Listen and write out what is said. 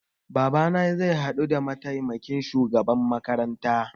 Babana zai haɗu da mataimakin shugaban makaranta